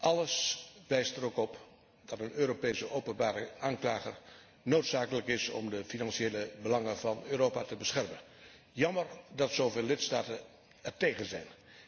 Alles wijst er ook op dat een Europese openbare aanklager noodzakelijk is om de financiële belangen van Europa te beschermen. Jammer dat zo veel lidstaten ertegen zijn.